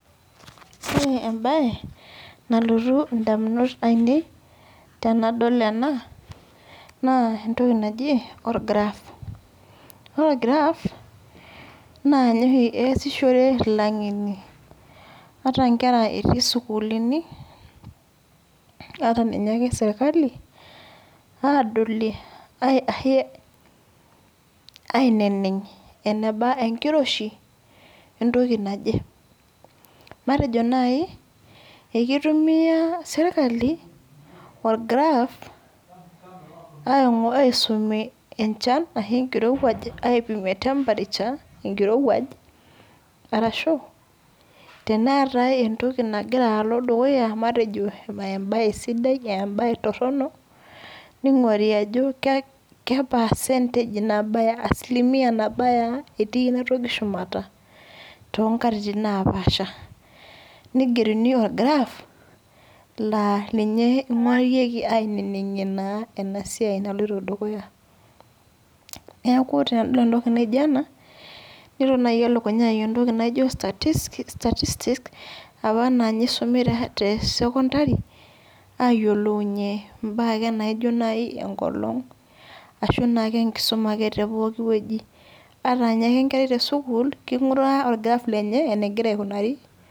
Ore ebae, nalotu indamunot ainei, tenadol ena, naa entoki naji or graph. Ore or graph, naa nye oshi easishore ilang'eni, ata nkera etii sukuulini, ata ninye ake serkali, adolie aineneng' eneba enkiroshi, entoki naje. Matejo nai, ekitumia serkali, or graph, aisumie enchan ashu enkirowuaj aipimie temperature, enkirowuaj, arashu teneetai entoki nagira alo dukuya matejo ebae sidai ebae torronok, ning'ori ajo ke percentage ke asilimia nabaya ah etii enatoki shumata, tonkatitin napaasha. Nigeruni or graph, laninye ing'orieki aineneng'ie naa enasiai naloito dukuya. Neeku tenadol entoki naijo ena, nelo nai elukunya ai entoki naijo statistics, apa na ninye isumi te secondary, ayiolounye imbaa ake naijo nai enkolong, ashu naake enkisuma ake tepooki wueji. Ata nye ake enkerai tesukuul, king'uraa or graph lenye, enegira aikunari.